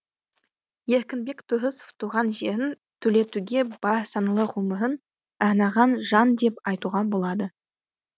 еркінбек тұрысов туған жерін түлетуге бар саналы ғұмырын арнаған жан деп айтуға болады